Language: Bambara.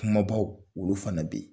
Kumabaw olu fana bɛ yen